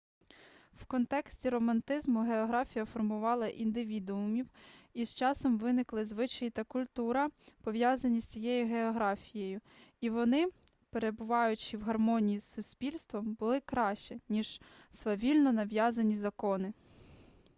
в контексті романтизму географія формувала індивідуумів і з часом виникли звичаї та культура пов'язані з цією географією і вони перебуваючи в гармонії з суспільством були краще ніж свавільно нав'язані закони